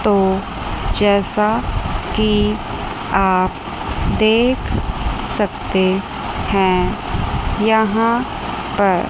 तो जैसा की आप देख सकते हैं यहां पर--